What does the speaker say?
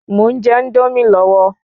Mò ún je Índómì lọ́wọ́